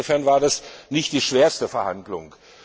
Insofern waren das nicht die schwersten Verhandlungen.